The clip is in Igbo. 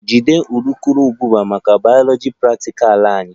Jide urukurubụba maka bayoloji praktikal anyị!